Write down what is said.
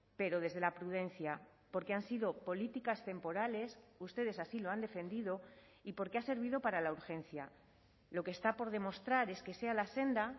pero desde la prudencia porque han sido políticas temporales ustedes así lo han defendido y porque ha servido para la urgencia lo que está por demostrar es que sea la senda